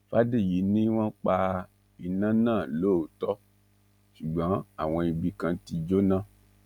fàdèyí ni wọn pa iná náà lóòótọ ṣùgbọn àwọn ibì kan ti jóná